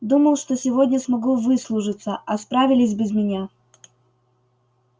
думал что сегодня смогу выслужиться а справились без меня